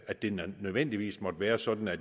at det nødvendigvis må være sådan at